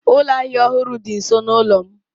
Ụlọ ahịa ọhụrụ dị nso n'ụlọ m.